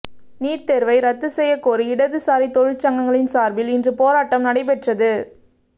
NEET தேர்வை ரத்து செய்யக் கோரி இடது சாரி தொழிற்சங்கங்களின் சார்பில் இன்று போராட்டம் நடைபெற்றது